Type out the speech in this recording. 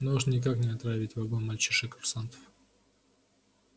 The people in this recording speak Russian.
но уж никак не отравить вагон мальчишек-курсантов